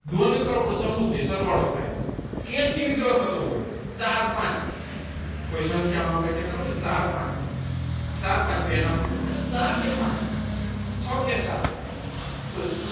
દ્વંદ્વ કરો પ્રથમ વચ્ચે સરવાળો થાય વિગ્રહ થતો હોય ચાર પાંચ કોઈ સંખ્યા માં આપડે કેટ હોય ને ચાર પાંચ ચાર પાંચ ચાર કે પાંચ છ કે સાત તો